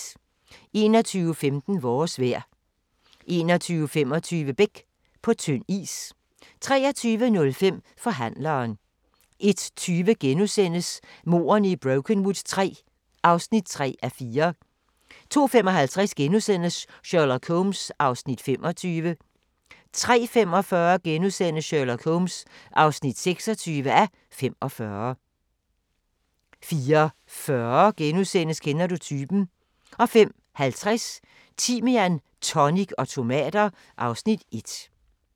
21:15: Vores vejr 21:25: Beck – På tynd is 23:05: Forhandleren 01:20: Mordene i Brokenwood III (3:4)* 02:55: Sherlock Holmes (25:45)* 03:45: Sherlock Holmes (26:45)* 04:40: Kender du typen? * 05:50: Timian, tonic og tomater (Afs. 1)